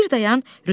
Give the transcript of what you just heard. Bir dayan.